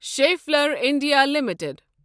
Schaeffler India limited